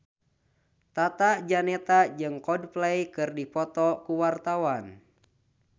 Tata Janeta jeung Coldplay keur dipoto ku wartawan